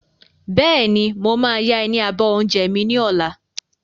Bẹ́ẹ̀ni, mo máa ya ẹ ní abọ́ oúnjẹ mi ni ọ̀la.